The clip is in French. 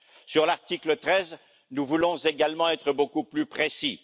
Sur l'article 13, nous voulons également être beaucoup plus précis.